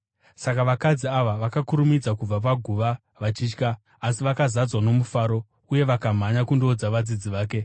Saka vakadzi ava vakakurumidza kubva paguva vachitya asi vakazadzwa nomufaro, uye vakamhanya kundoudza vadzidzi vake.